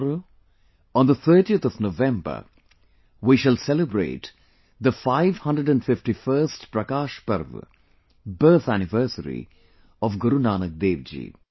tomorrow on the 30th of November, we shall celebrate the 551st Prakash Parv, birth anniversary of Guru Nanak Dev ji